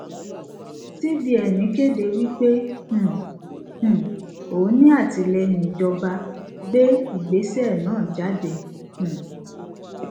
cbn kéde wí pé um um òun ní àtìlẹyìn ìjọba gbé ìgbésẹ náà jáde um